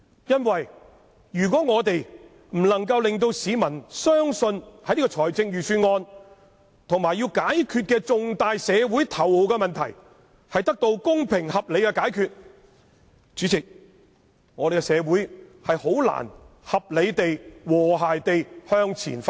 如果我們不能令市民相信預算案能夠令現時重大社會頭號問題得到公平合理的解決，主席，這樣香港社會便難以合理地、和諧地向前發展。